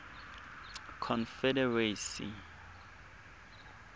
confederacy